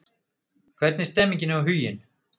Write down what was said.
Hvernig er stemningin hjá Huginn?